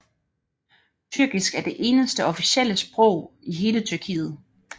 Tyrkisk er det eneste officielle sprog i hele Tyrkiet